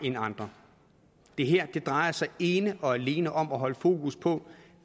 end andre det her drejer sig ene og alene om at holde fokus på